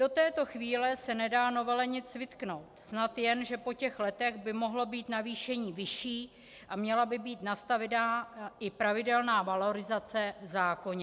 Do této chvíle se nedá novele nic vytknout, snad jen že po těch letech by mohlo být navýšení vyšší a měla by být nastavena i pravidelná valorizace v zákoně.